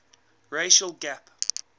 racial gap